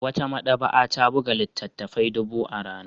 Wata maɗaba'a ta buga littattafai dubu a rana